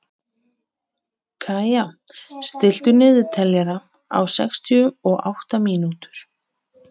Kaía, stilltu niðurteljara á sextíu og átta mínútur.